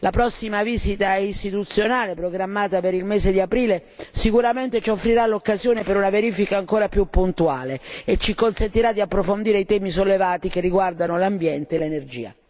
La prossima visita istituzionale programmata per il mese di aprile sicuramente ci offrirà l'occasione per una verifica ancora più puntuale e ci consentirà di approfondire i temi sollevati che riguardano l'ambiente e l'energia.